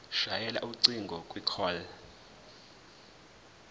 shayela ucingo kwicall